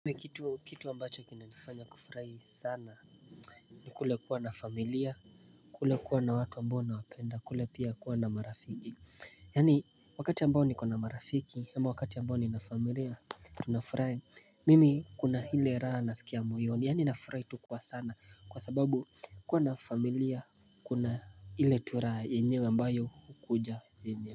Kumi kitu ambacho kinanifanya kufurahi sana ni kule kuwa na familia. Kule kuwa na watu mbona wapenda kule pia kuwa na marafiki. Yani wakati ambao nikona marafiki ama wakati ambao nina familia tunafurahi. Mimi kuna ile raha nasikia moyoni yani nafurahi tu kwa sana kwa sababu kuwa na familia kuna hile tu raha yenyewe ambayo hukuja yenyewe.